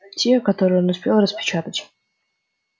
те которые он успел распечатать